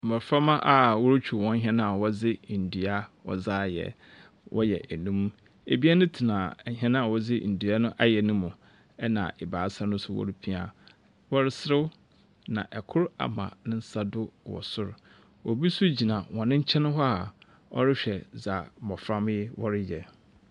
Mbofra a wɔretwiw wɔn hɛn a wɔdze ndua ayɛ. Ebien tena hɛn a wɔdze ndua ayɛ no mu. Ɛna ebaasa nso wɔrepia. Wɔreserew na kor ama ne nsa do wɔ sor. Obi nso gyina wɔn nkyɛn hɔ a ɔrehwɛ dza mbaframba yi wɔreyɛ.